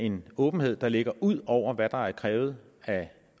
en åbenhed der ligger ud over hvad der er krævet af